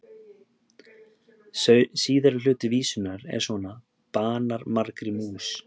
Síðari hluti vísunnar er svona: Banar margri mús,